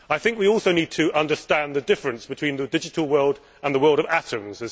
We also need to understand the difference between the digital world and the world of atoms.